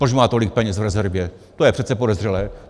Proč má tolik peněz v rezervě, to je přece podezřelé.